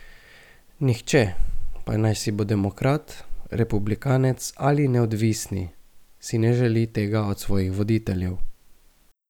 Nihče, pa naj si bo demokrat, republikanec ali neodvisni, si ne želi tega od svojih voditeljev.